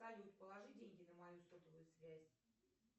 салют положи деньги на мою сотовую связь